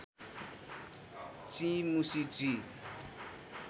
चिं मुसी चिं